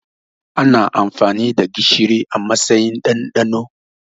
Ana amfani da gishiri a matsayin ɗanɗano